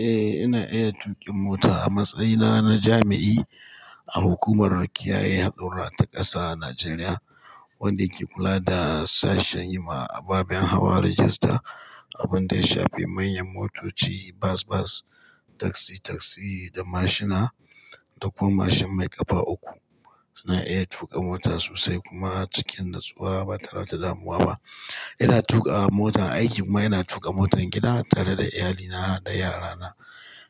Eh, ina iya tuƙin mota. A matsayina na jami'i a hukumar kiyaye haɗurra ta ƙasa a Najeriya, wanda ke kula da sashen yi ma ababen hawa rajista, abun da ya shafi manyan motoci, bas-bas, taksi-taksi da mashina da kuma mashin mai ƙafa uku. Ina iya tuƙa mota sosai kuma cikin natsuwa ba tare da damuwa ba. Ina tuƙa mota aiki kuma ina tuƙa motan gida tare da iyalina har da yarana.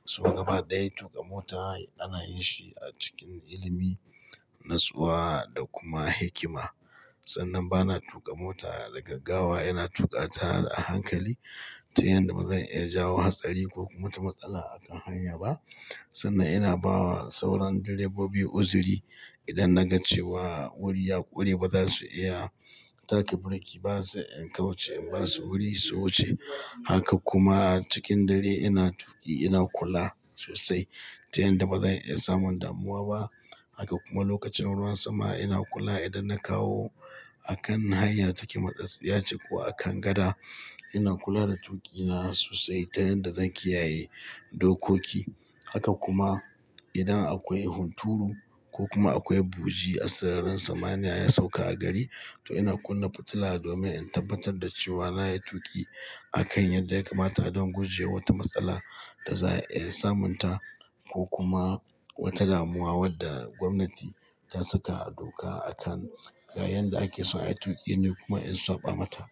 So gaba ɗaya tuƙa mota ana yin shi a cikin ilimi, natsuwa da kuma hikima. Sannan bana tuƙa mota da gaggawa, ina tuƙa ta a hankali ta yanda ba zan iya jawo hatsari ko kuma wata matsala a kan hanya ba. Sannan ina ba wa sauran direbobi uzuri idan na ga cewa wuri ya ƙure ba za su iya taka birki ba sai in kauce in ba su wuri, su wuce. Haka kuma a cikin dare ina tuƙi ina kula sosai ta yanda ba zan iya samun damuwa ba. Haka kuma lokacin ruwan sama ina kula idan na kawo a kan hanyar take matsatsiyace ko a kan gada, ina kula da tuƙina sosai ta yanda zan kiyaye dokoki. Haka kuma idan akwai hunturu ko kuma akwai buji a sararin samaniya ya sauka a gari, to ina kunna fitila domin in tabbatar da cewa na yi tuƙi a kan yadda ya kamata don guje wa wata matsala da za a iya samunta ko kuma wata damuwa wadda gwamnati ta saka a doka a kan ga yanda ake so a yi tuƙi ni kuma in saɓa mata.